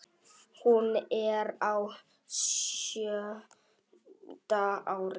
Hún er á sjöunda ári